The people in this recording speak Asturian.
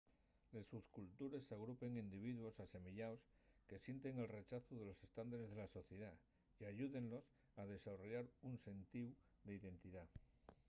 les subcultures agrupen individuos asemeyaos que sienten el rechazu de los estándares de la sociedá y ayúdenlos a desarrollar un sentíu d’identidá